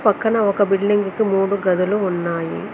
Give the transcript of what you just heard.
పక్కన ఒక బిల్డింగ్ కు మూడు గదులు ఉన్నాయి.